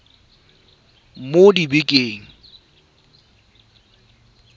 mo dibekeng di le nne